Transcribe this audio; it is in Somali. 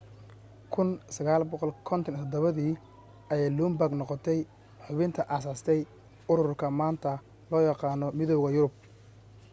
1957 dii ayay luxembourg noqotay xubintii aasaastay ururka maanta loo yaqaano midowga yurub